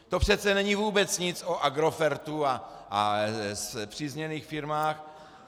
To přece není vůbec nic o Agrofertu a spřízněných firmách.